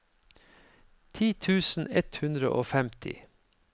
ti tusen ett hundre og femti